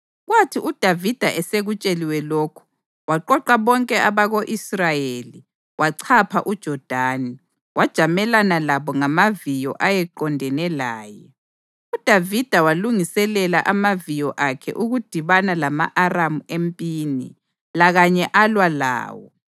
Kwathi uDavida esekutsheliwe lokhu, waqoqa bonke abako-Israyeli, wachapha uJodani, wajamelana labo ngamaviyo ayeqondene laye. UDavida walungiselela amaviyo akhe ukudibana lama-Aramu empini, lakanye alwa lawo.